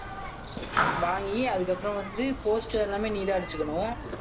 வாங்கி அதுக்கப்புறம் வந்து poster எல்லாமே நீதான் அடிச்சுக்கணும்.